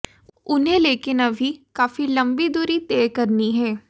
उन्हें लेकिन अभी काफी लंबी दूरी तय करनी है